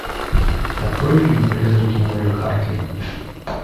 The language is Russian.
открой фильм призраки молли хартли